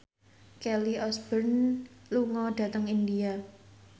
Kelly Osbourne lunga dhateng India